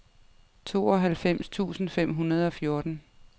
tooghalvfems tusind fem hundrede og fjorten